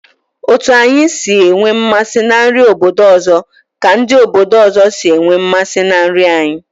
Otu anyi si enwe mmasị na nri obodo ọzọ ka ndị obodo ọzọ si enwe mmasị na nri anyị.